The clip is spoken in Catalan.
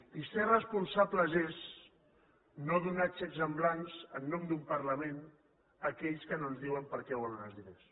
i ser responsables és no donar xecs en blanc en nom d’un parlament a aquells que no ens diuen per a què volen els diners